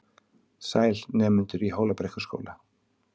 Sæl, nemendur í Hólabrekkuskóla.